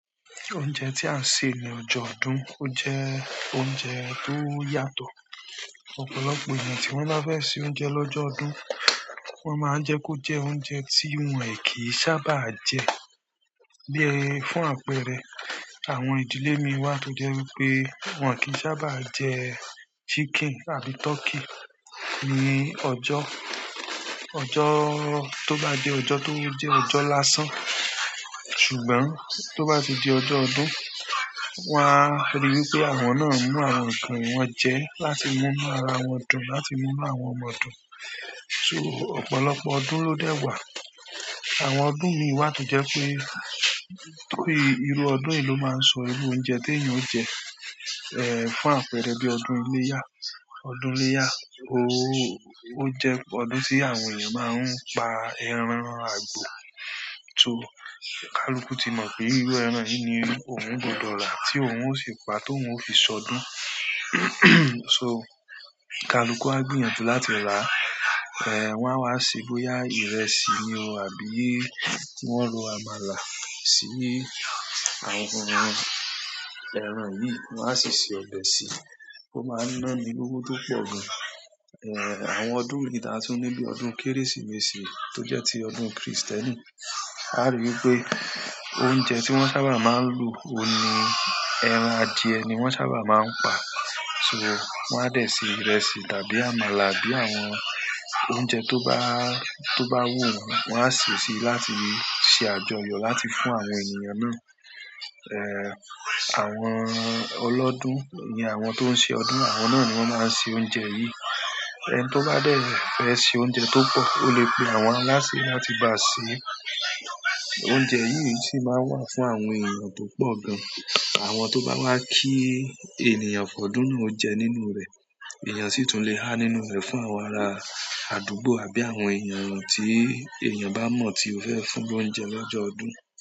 Oúnjẹ tí a ṣè ní ọjọ́ ọdún, o jẹ́ oúnjẹ tó yàtọ̀. Ọ̀pọ̀lọpọ̀ ènìyàn tí wọ́n bá fẹ́ ṣe oúnjẹ lọ́jọ́ ọdún, wọ́n máa n jẹ́ kó jẹ́ oúnjẹ tí wọ́n e kì sábà jẹ. Bí fún àpẹẹrẹ, àwọn ìdílé mi wà tó jẹ́ wípé wọn kì sábà jẹ chicken àbí turkey ní ọjọ́, ojo- tó bá jẹ́ ọjọ́ tó jẹ́ ọjọ́ lásán. Ṣùgbọ́n tó bá ti di ọjọ́ ọdún, wọn á rí wipé àwọn náà ń mú àwọn nǹkan yìí wọ́n jẹ láti mú inú ara wọn dùn, láti mú inú àwọn ọmọ dùn. So, ọ̀pọ̀lọpọ̀ ọdún ló dẹ̀ wá. Àwọn ọdún mi wà tó jẹ́ pé tóri irú ọdún yìí ló máa ń sọ irú oúnjẹ tí èeyàn ó jẹ. Ẹ̀, fún àpẹẹrẹ bí ọdún iléyá. Ọdún iléyá ó jẹ́ ọdún tí àwọn ènìyàn máa ń pa ẹran àgbò. So, kaluku ti mọ̀ pé irú ẹran yìí ni òun gbọdọ̀ rà, tí òun ó sì pa, t'óun ó fi ṣọdún. So, kaluku á gbìyànjú láti rà. Ẹ̀, wọn á wá ṣe bóyá ìrẹsì ni o àbí ki wọ́n ro àmàlà sí àwọn ẹran yìí, wọ́n á sì ṣe ọbẹ̀ sí i. Ó máa ń ná ni lówó tó pọ̀ gan. Ẹ̀, àwọn ọdún mi tá tun ní bi ọdún Kérésìmesì tó jẹ́ ti ọdún Krìstẹ́nì. A rí wipé oúnjẹ tí wọ́n sábà máa ń lò, òun ni ẹran adìẹ ni wọ́n sábà máa ń pa. So, wọ́n á dẹ̀ ṣe ìrẹsì tàbí àmàlà àbí àwọn oúnjẹ tó bá, tó bá wù wọ́n, wọ́n á sè si, láti ṣe àjọyọ̀ láti fún àwọn ènìyàn náà. Ẹ̀, àwọn ọlọ́dún ni àwọn tó ń ṣe ọdún, àwọn náà ni wọ́n máa ń ṣe oúnjẹ yìí. Ẹni to ba de fe se oúnjẹ to po, o le pe àwọn alaase láti ba se, oúnjẹ yi si maa n wa fún àwọn eeyan to po gan. Àwọn to ba wa ki ènìyàn fo'dun náà o je nínú re, eeyan si tun le ha nínú re fún àwọn ara aduugbo àbí àwọn eeyan ti eeyan ba mo ti o fe fún l'ounje l'ojo ọdún.